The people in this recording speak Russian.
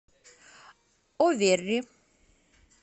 оверри